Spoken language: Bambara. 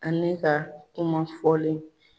Ani ka kuma fɔlen.